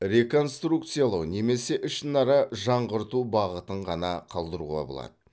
реконструкциялау немесе ішінара жаңғырту бағытын ғана қалдыруға болады